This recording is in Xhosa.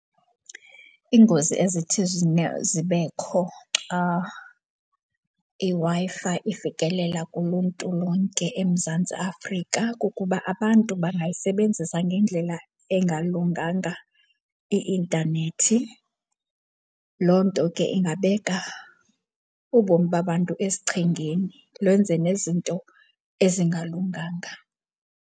Iingozi ezithi zibekho xa iWi-Fi ifikelela kuluntu lonke eMzantsi Afrika kukuba abantu bangayisebenzisa ngendlela engalunganga i-intanethi. Loo nto ke ingabeka ubomi babantu esichengeni, lwenze nezinto ezingalunganga.